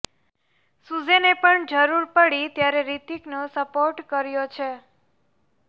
સુઝેને પણ જરુર પડી ત્યારે રિતિકનો સપોર્ટ કર્યો છે